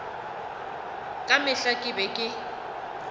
ka mehla ke be ke